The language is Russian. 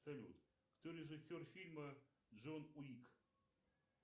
салют кто режиссер фильма джон уик